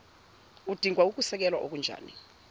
udinga ukusekelwa okunjani